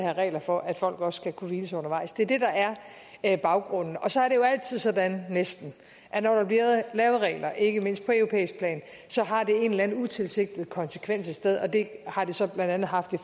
have regler for at folk også skal kunne hvile sig undervejs det er det der er baggrunden så er det jo altid sådan næsten at når der bliver lavet regler ikke mindst på europæisk plan har det en eller anden utilsigtet konsekvens et sted og det har det så blandt andet haft i